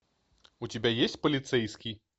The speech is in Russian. у тебя есть полицейский